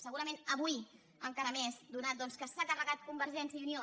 segurament avui encara més atès que s’ha carregat convergència i unió